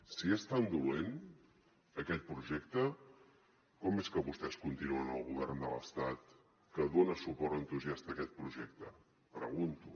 si és tan dolent aquest projecte com és que vostès continuen al govern de l’estat que dona suport entusiasta a aquest projecte pregunto